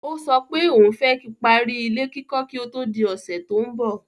Ó sọ pé òun fẹ́ kí parí ilé kíkọ́ kí ó tó di ọ̀sẹ̀ tó ń bọ̀.